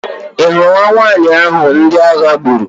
Ị hụrụ nwa nwanyị ahụ ndị agha gburu?